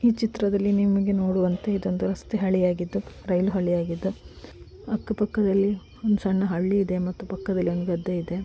ಈ ಚಿತ್ರದಲ್ಲಿ ನೀವು ಇಲ್ಲಿ ನೋಡುವಂತೆ ಇದೊಂದು ರಸ್ತೆ ಹಳ್ಳಿಯಾಗಿದು ರೈಲು ಹೊಣೆಯಾಗಿದ್ದುಅಕ್ಕ ಪಕ್ಕದಲ್ಲಿ ಒಂದು ಸಣ್ಣ ಹಳ್ಳಿ ಇದೆ ಮತ್ತು ಪಕ್ಕದಲ್ಲಿದೆ ಒಂದು ಗದ್ದೆ ಇದೆ.